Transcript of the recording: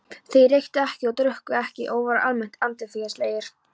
Þeir reyktu ekki og drukku ekki og voru almennt andfélagslegir.